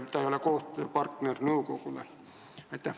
Kas ta ei ole nõukogu koostööpartner?